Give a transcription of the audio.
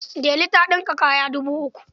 Delu ta ɗinka kayan dubu uku.